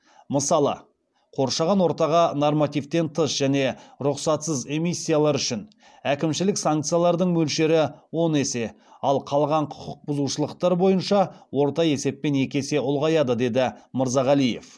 мысалы қоршаған ортаға нормативтен тыс және рұқсатсыз эмиссиялар үшін әкімшілік санкциялардың мөлшері он есе ал қалған құқық бұзушылықтар бойынша орта есеппен екі есе ұлғаяды деді мырзағалиев